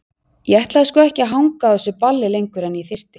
Ég ætlaði sko ekki að hanga á þessu balli lengur en ég þyrfti.